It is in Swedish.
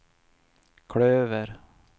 klöver